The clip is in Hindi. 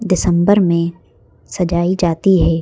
दिसंबर में सजाई जाती है।